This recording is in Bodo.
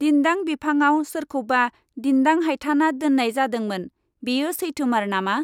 दिन्दां बिफांआव सोरखौबा दिन्दां हायथाना दोननाय जादोंमोन, बेयो सैथोमार नामा ?